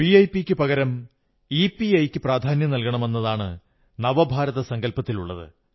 വിഐപിയ്ക്കു പകരം ഇപിഐ യ്ക്കു പ്രധാന്യം നല്കണമെന്നതാണ് നവഭാരസങ്കൽപത്തിലുള്ളത്